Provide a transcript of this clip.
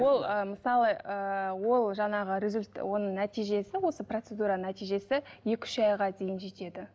ол ы мысалы ыыы ол жаңағы оның нәтижесі осы процедура нәтижесі екі үш айға дейін жетеді